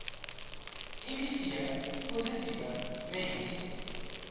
miv positiewe mense